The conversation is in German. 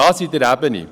Das in der Ebene.